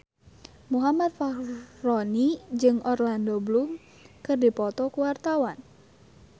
Muhammad Fachroni jeung Orlando Bloom keur dipoto ku wartawan